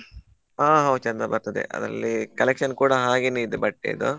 ಹಾ ಹೌದ್ ಚೆಂದ ಬರ್ತದೆ ಅದರಲ್ಲಿ collection ಕೂಡ ಹಾಗೆ ಹಾಗೇನೆ ಇದೆ ಬಟ್ಟೆದು.